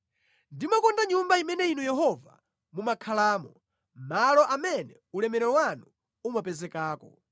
Ndimakonda Nyumba imene Inu Yehova mumakhalamo, malo amene ulemerero wanu umapezekako.